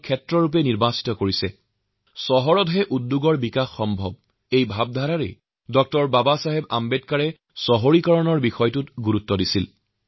উদ্যোগীকৰণৰ এই জোৱাৰ চহৰৰ পৰাই উঠিববে বুলি আম্বেদকাৰে বিশ্বাস কৰিছিল আৰু সেই দেশৰ নগৰীকৰণৰ ওপৰত বিশেষ কৈ ভৰসা কৰিছে